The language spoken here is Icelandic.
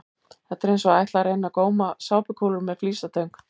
Þetta er eins og að ætla að reyna að góma sápukúlur með flísatöng!